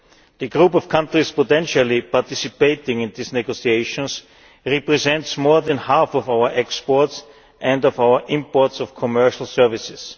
The group of countries potentially participating in these negotiations represents more than half of our exports and of our imports of commercial services.